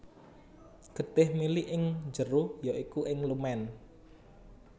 Getih mili ing njero ya iku ing lumen